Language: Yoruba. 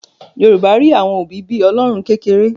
Yorùbá rí àwọn òbí bí Ọlọ́run kékeré